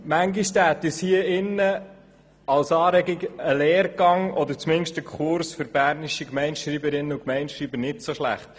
Manchmal täte uns und als Anregung ein Lehrgang oder zumindest ein Kurs für bernische Gemeindeschreiberinnen und Gemeindeschreiber nicht so schlecht.